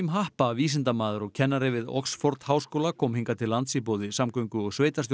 happa vísindamaður og kennari við Oxford háskóla kom hingað til lands í boði samgöngu og